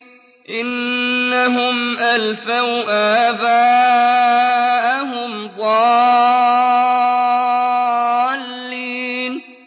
إِنَّهُمْ أَلْفَوْا آبَاءَهُمْ ضَالِّينَ